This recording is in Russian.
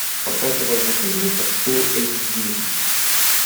показывай на колесах фул эйч ди